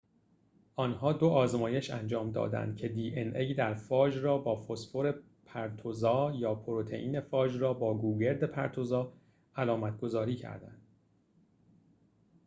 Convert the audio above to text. آنها دو آزمایش انجام دادند که دی‌ان‌ای در فاژ را با فسفر پرتوزا یا پروتئین فاژ را با گوگرد پرتوزا علامت‌گذاری کردند